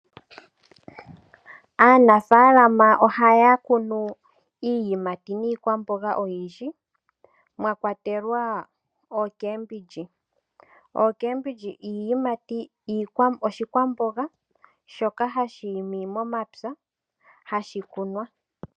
Aanafalama ohaya kunu iiyimati niikwamboga oyindji mwakwatelwa ocabbage. Ocabbge oshikwamboga shoka hashi imi momapya hashi kunwa.